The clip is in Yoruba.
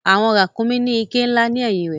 Àwọn ràkúnmí ní iké ńlá ni ẹ̀yìn rẹ̀.